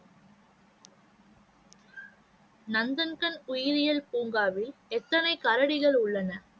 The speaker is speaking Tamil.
நந்தன்கண் உயிரியல் பூங்காவில் எத்தனை கரடிகள் உள்ளன?